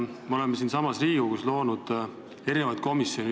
Me oleme siin Riigikogus loonud erinevaid komisjone.